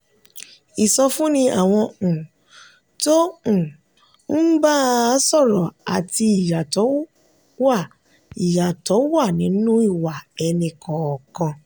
ìsọfúnni àwọn um tó um ń bá a sọ̀rọ̀ àti ìyàtọ̀ wà ìyàtọ̀ wà nínú ìwà ẹni kọọkan.